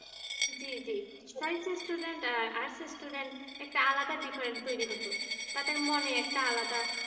জি জি science student arts student একটা আলাদা difference তৈরি হতো তাদের মনে একটা আলাদা